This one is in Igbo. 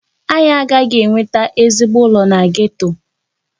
Anyị agaghị enweta ezigbo ụlọ na geto.